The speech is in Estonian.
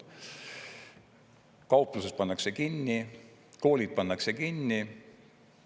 Kauplus pannakse kinni, koolid pannakse kinni.